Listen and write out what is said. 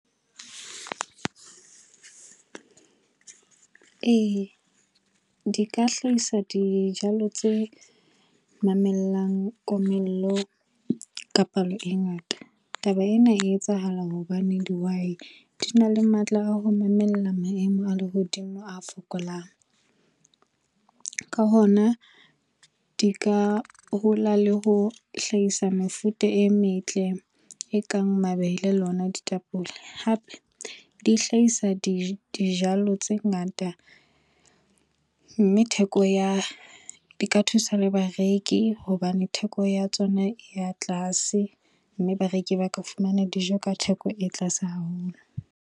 Ee, di ka hlahisa dijalo tse mamellang komello ka palo e ngata. Taba ena e etsahala hobane dihwai di na le matla a ho mamela maemo a lehodimo a fokolang. Ka hona, di ka hola le ho hlahisa mefuta e metle e kang mabele ona ditapole. Hape, di hlahisa dijalo tse ngata mme theko ya di ka thusa le bareki hobane theko ya tsona e ya tlase mme bareki ba ka fumana dijo ka theko e tlase haholo.